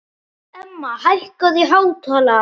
Emma, hækkaðu í hátalaranum.